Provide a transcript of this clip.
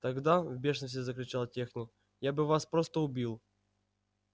тогда в бешенстве закричал техник я бы вас просто убил